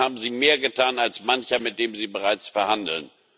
Dann haben sie mehr getan als mancher, mit dem Sie bereits verhandeln.